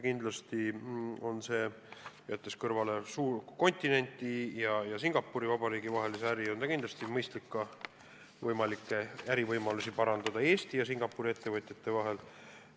Kindlasti on, jättes kõrvale Euroopa ja Singapuri Vabariigi vahelise äri, mõistlik ärivõimalusi Eesti ja Singapuri ettevõtjate vahel parandada.